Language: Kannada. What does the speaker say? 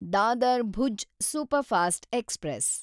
Dadar Bhuj superfast express